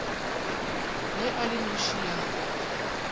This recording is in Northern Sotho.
ya e le noši ya